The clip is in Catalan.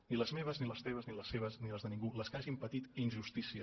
ni les meves ni les teves ni les seves ni les de ningú les que hagin patit injustícia